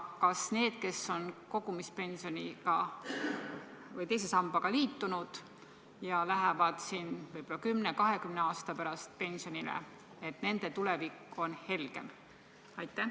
Kas nende tulevik, kes on teise sambaga liitunud ja lähevad võib-olla 10–20 aasta pärast pensionile, on helgem?